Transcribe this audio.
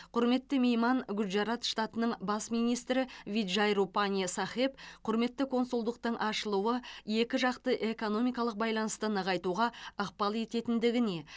құрметті мейман гуджарат штатының бас министрі виджай рупани сахеб құрметті консульдықтың ашылуы екі жақты экономикалық байланысты нығайтуға ықпал ететіндігіне